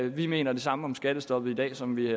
vi mener det samme om skattestoppet i dag som vi